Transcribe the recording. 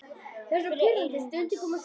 Það niðaði fyrir eyrum hans.